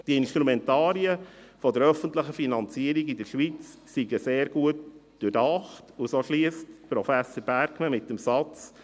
Die Instrumentarien der öffentlichen Finanzierung in der Schweiz seien sehr gut durchdacht, und so schliesst Professor Bergmann mit dem Satz: